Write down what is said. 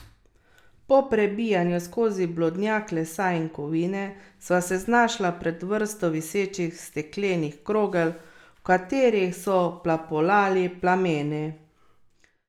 Po prebijanju skozi blodnjak lesa in kovine sva se znašla pred vrsto visečih steklenih krogel, v katerih so plapolali plameni.